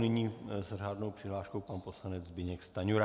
Nyní s řádnou přihláškou pan poslanec Zbyněk Stanjura.